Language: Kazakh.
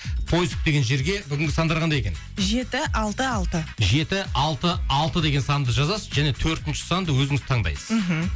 поиск деген жерге бүгінгі сандар қандай екен жеті алты алты жеті алты алты деген санды жазасыз және төртінші санды өзіңіз таңдайсыз мхм